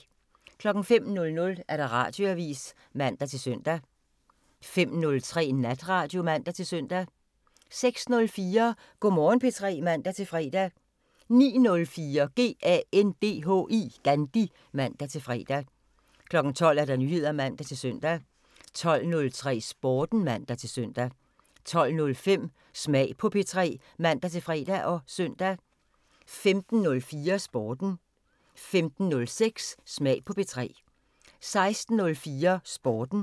05:00: Radioavisen (man-søn) 05:03: Natradio (man-søn) 06:04: Go' Morgen P3 (man-fre) 09:04: GANDHI (man-fre) 12:00: Nyheder (man-søn) 12:03: Sporten (man-søn) 12:05: Smag på P3 (man-fre og søn) 15:04: Sporten 15:06: Smag på P3 16:04: Sporten